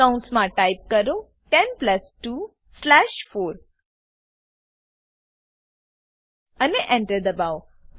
કૌંસમાં ટાઈપ કરો 10 plus 2 slash 4 અને Enter દબાવો